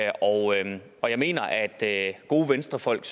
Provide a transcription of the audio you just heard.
og jeg og jeg mener at gode venstrefolk